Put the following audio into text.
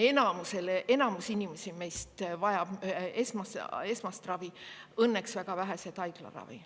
Enamus inimesi vajab esmast ravi, õnneks väga vähesed haiglaravi.